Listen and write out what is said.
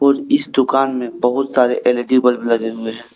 इस दुकान में बहुत सारे एल_ई_डी बल्ब लगे हुए है।